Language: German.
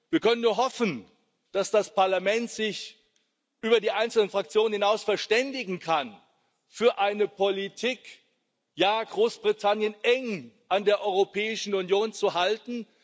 Wir können nur hoffen, dass sich das Parlament über die einzelnen Fraktionen hinaus verständigen kann für eine Politik, ja, Großbritannien eng an der Europäischen Union zu halten.